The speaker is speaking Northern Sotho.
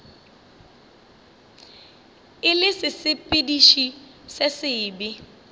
e le sesepediši se sebe